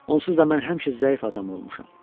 Onsuz da mən həmişə zəif adam olmuşam.